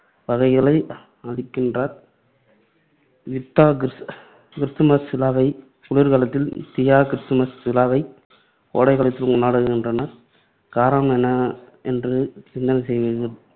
வகைகளை அளிக்கின்றார். யுக்தா கிருஸ்துமஸ் விழாவைக் குளிர்காலத்தில், தியா கிருஸ்துமஸ் விழாவைக் கோடைக்காலத்திலும் கொண்டாடுகின்றனர். காரணம் என்ன என்று சிந்தனை செய்வீர்கள்.